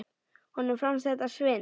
Honum fannst þetta svindl.